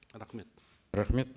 рахмет рахмет